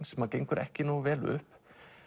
sem gengur ekki nógu vel upp